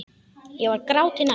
Ég var gráti nær.